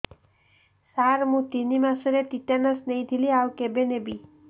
ସାର ମୁ ତିନି ମାସରେ ଟିଟାନସ ନେଇଥିଲି ଆଉ କେବେ ନେବି